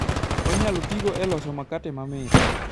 Onyalo tigo e loso makate mamit.